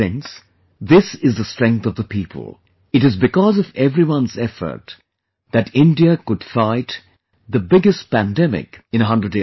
Friends, this is the strength of the people; it is because of everyone's effort that India could fight the biggest pandemic in a 100 years